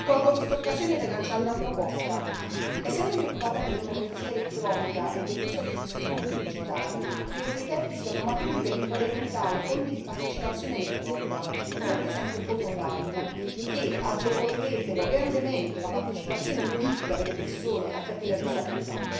Colgo quest'occasione per lanciare una proposta essendomi occupata di democrazia elettronica e dell'uso degli strumenti digitali, credo che i tempi siano maturi per implementare forme di partecipazione elettronica, come per esempio il voto online, che agevolerebbero grandemente la partecipazione politica delle persone affette da disabilità.